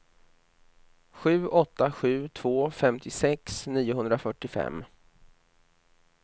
sju åtta sju två femtiosex niohundrafyrtiofem